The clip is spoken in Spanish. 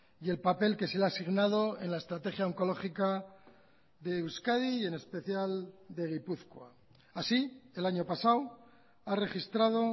y el papel que se le ha asignado en la estrategia oncológica de euskadi y en especial de gipuzkoa así el año pasado ha registrado